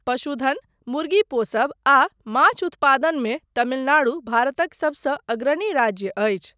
पशुधन, मुर्गी पोसब आ माछ उत्पादन मे तमिलनाडु भारतक सबसँ अग्रणी राज्य अछि।